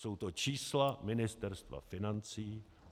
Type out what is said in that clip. Jsou to čísla Ministerstva financí.